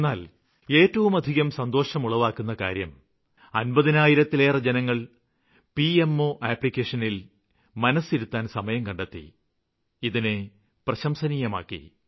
എന്നാല് ഏറ്റവുമധികം സന്തോഷമുളവാക്കുന്ന കാര്യം അമ്പതിനായിരത്തിലേറെ ജനങ്ങള് പിഎംഒ ആപ്ലിക്കേഷനില് മനസ്സിരുത്താന് സമയം കണ്ടെത്തി ഇതിനെ പ്രശംസനീയമാക്കി